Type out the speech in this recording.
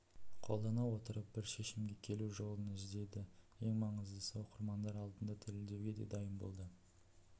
қолдана отырып бір шешімге келу жолын іздеді ең маңыздысы оқырмандар алдында дәлелдеуге де дайын болды